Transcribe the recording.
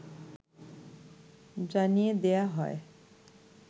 জানিয়ে দেয়া হয়